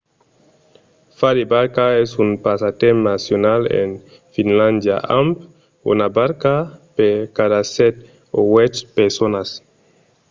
fa de barca es un passatemps nacional en finlàndia amb una barca per cada sèt o uèch personas